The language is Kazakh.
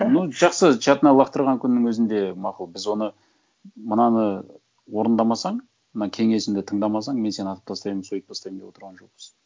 ну жақсы чатына лақтырған күннің өзінде мақұл біз оны мынаны орындамасаң мына кенесімді тыңдамасаң мен сені атып тастаймын сөйтіп тастаймын деп отырған жоқпыз